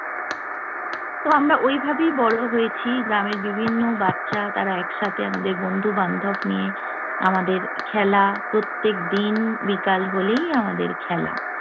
তো আমরা ওইভাবেই বড় হয়েছি। গ্রামের বিভিন্ন বাচ্চা তারা একসাথে আমাদের বন্ধু-বান্ধব নিয়ে, আমাদের খেলা- প্রত্যেকদিন বিকাল হলেই আমাদের খেলা।